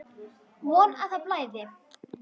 Von að það blæði!